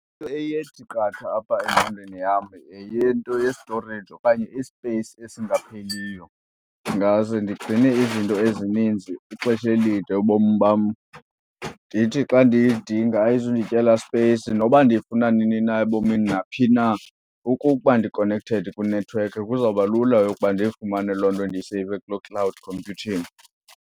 Into eye ithi qatha apha engqondweni yam yeyento yestoreyiji okanye isipeyisi esingapheliyo. Ndingaze ndigcine izinto ezininzi ixesha elide ubomi bam, ndithi xa ndiyidinga ayizundityela sipeyisi noba ndiyifuna nini na ebomini naphi na. Okokuba ndikonekhthedi kwinethiwekhi kuzawuba lula yokuba ndiyifumane loo nto ndiyiseyive kuloo cloud computing.